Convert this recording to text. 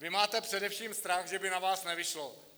Vy máte především strach, že by na vás nevyšlo.